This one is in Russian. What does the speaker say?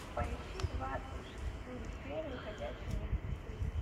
поищи двадцать шестую серию ходячие мертвецы